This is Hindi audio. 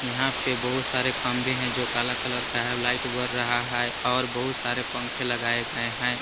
यहां पर बहुत सारे खंबे हैं जो काला कलर का है लाइट बर रहा है और बहुत सारे पंखे लगाए गए हैं।